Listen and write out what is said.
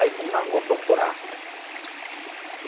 Aí fomos na rua procurar, né? Uhum.